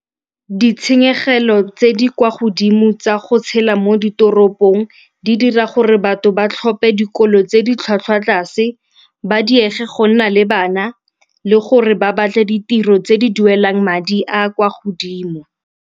Ditshenyegelo tse di kwa godimo tsa go tshela mo ditoropong di dira gore batho ba tlhophe dikolo tse di tlhwatlhwa tlase, ba diege go nna le bana le gore ba batle ditiro tse di duelang madi a a kwa godimo.